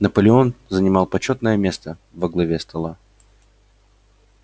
наполеон занимал почётное место во главе стола